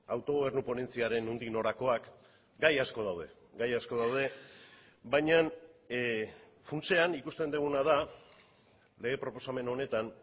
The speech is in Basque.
autogobernu ponentziaren nondik norakoak gai asko daude gai asko daude baina funtsean ikusten duguna da lege proposamen honetan